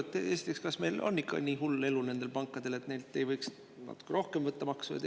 Esiteks, kas nendel pankadel on ikka nii hull elu, et neilt ei võiks natuke rohkem maksu võtta?